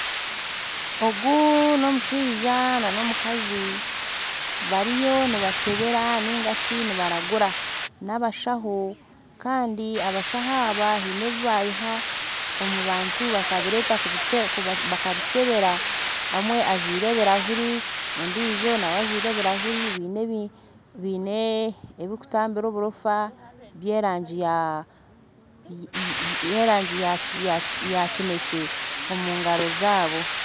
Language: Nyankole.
Ogu n'omushaija n'omukazi bariyo nibakyebeera nigashi nibaraguura nabashaho kandi abashaho aba baine ebi biiha omu bantu bakabireeta kubikyebera omwe ajwire ebirahuri n'ondiijo nawe ajwire ebirahuri baine ebirikutabira oburoofa by'erangi ya kineekye omugaro zaabo